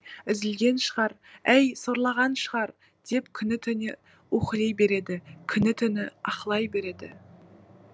үзілген шығар әй сорлаған шығар деп күні түне уһілей береді күні түні аһылай береді